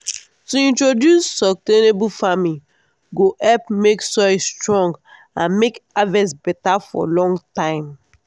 to introduce sustainable farming go help make soil strong and make harvest beta for long time.